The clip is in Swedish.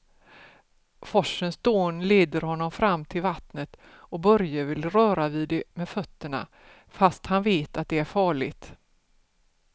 Forsens dån leder honom fram till vattnet och Börje vill röra vid det med fötterna, fast han vet att det är farligt.